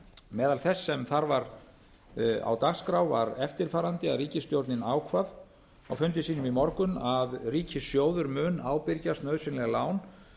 meðal þess sem þar var á dagskrá var eftirfarandi að ríkisstjórnin ákvað á fundi sínum í morgun að ríkissjóður mun ábyrgjast nauðsynleg lán